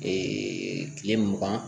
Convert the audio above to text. kile mugan